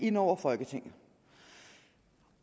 ind over folketinget